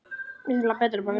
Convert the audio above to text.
Utanum ekkert hjarta.